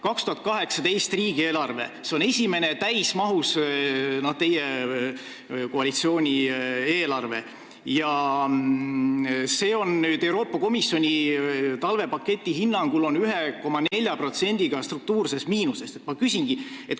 2018. aasta riigieelarve on esimene täismahus teie koalitsiooni eelarve ja see on Euroopa Komisjoni talvepaketi hinnangul 1,4%-ga struktuurses miinuses.